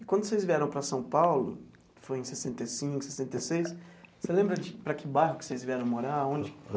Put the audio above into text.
E quando vocês vieram para São Paulo, foi em sessenta e cinco, sessenta e seis, você lembra que para que bairro que vocês vieram morar, aonde?